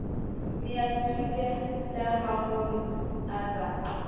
ne a tshohilehaholo a sa